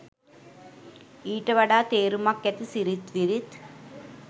ඊට වඩා තේරුමක් ඇති සිරිත් විරිත්